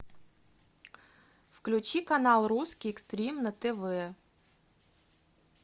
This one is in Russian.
включи канал русский экстрим на тв